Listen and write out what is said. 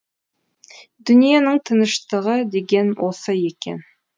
дүниенің тыныштығы деген осы екен